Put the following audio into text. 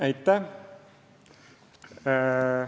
Aitäh!